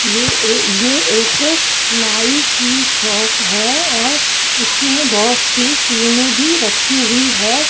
ये ए ये एक नाई की शॉप है और इसमें बहोत सी क्रीमें भी रखी हुई है।